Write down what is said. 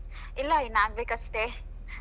ಇಲ್ಲ ಇನ್ ಆಗ್ಬೇಕಷ್ಟೆ.